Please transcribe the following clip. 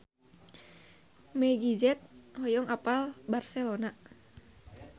Meggie Z hoyong apal Barcelona